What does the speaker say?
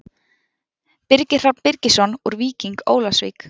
Birgir Hrafn Birgisson úr Víking Ólafsvík